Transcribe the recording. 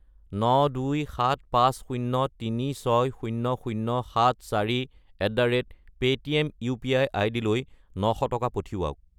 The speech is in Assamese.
92750360074@paytm UPI. আইডিলৈ 900 টকা পঠিৱাওক।